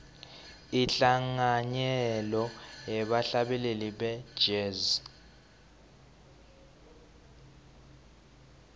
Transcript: inhlanganyelo yebahlabeleli be jazz